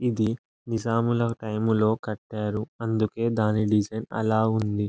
ఇది నిజాముల టైం లో కట్టారు అందుకే దాని డిజైన్ ఆలా ఉంది.